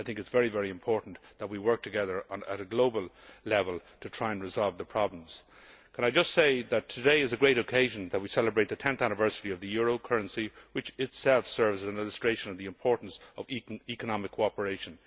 It is very important that we work together at a global level to try and resolve the problems. Let me just say that today is a great occasion we celebrate the 10th anniversary of the euro currency, which itself serves as an illustration of the importance of economic cooperation.